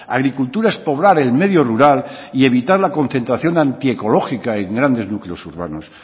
agricultura es poblar el medio rural y evitar la concentración antiecológica en grandes núcleos urbanos